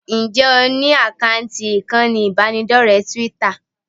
Ǹjẹ́ o ní àkáǹtì ìkànnì ìbánidọ́rẹ̀ẹ́ Twitter?